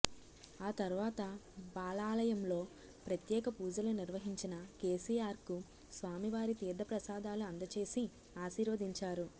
ఆ తర్వాత బాలాలయంలో ప్రత్యేక పూజలు నిర్వహించిన కేసీఆర్ కు స్వామివారి తీర్ధ ప్రసాదాలు అందచేసి ఆశీర్వదించారు